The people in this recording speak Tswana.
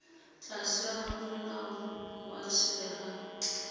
tlase ga molao wa selegae